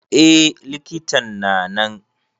Eh likitan na nan.